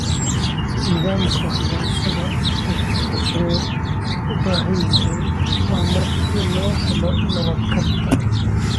Nidaamka waxbarashada wuxuu u baahan yahay horumar si loo helo nabad waarta.